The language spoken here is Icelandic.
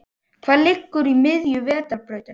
Hvað liggur í miðju Vetrarbrautarinnar?